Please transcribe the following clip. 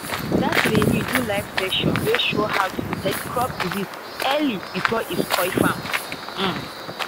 that trainer do live session wey show how to detect crop disease early before e spoil farm um